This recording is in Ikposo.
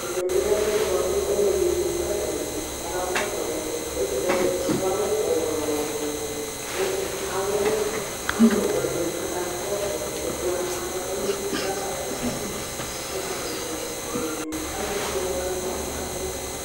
Ɛmɛ bi lɛ ɛfʋɛdi bʋakʋ ɔlʋɛdi ɛkʋ kʋ atani ayaba kɔsʋ ɔlʋ yɛ kʋ alʋ desiade adʋ awʋwɛ ɔwɛ ɔwɛ kʋ alʋwɛ wani aka kɔsʋ ɛkɛ ava ɔla ɔlʋ yɛ kʋ ɛkʋ aka kɔsʋ yi alʋele wani bi adʋ